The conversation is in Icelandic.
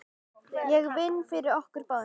Ég vinn fyrir okkur báðum.